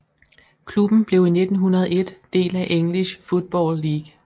Klubben blev i 1901 del af English Football League